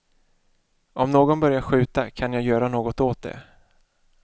Om någon börjar skjuta, kan jag göra något åt det.